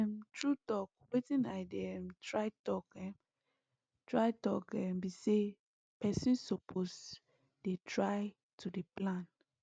um true talk wetin i dey um try talk um try talk um be say person suppose dey try to dey plan